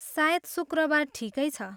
सायद शुक्रवार ठिकै छ।